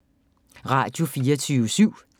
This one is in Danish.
Radio24syv